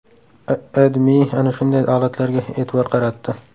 AdMe ana shunday holatlarga e’tibor qaratdi .